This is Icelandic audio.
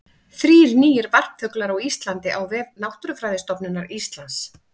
Þrír nýir varpfuglar á Íslandi á vef Náttúrufræðistofnunar Íslands.